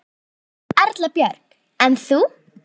Erla Björg: En þú?